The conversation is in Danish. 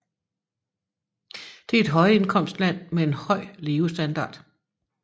Det er et højindkomstland med en høj levestandard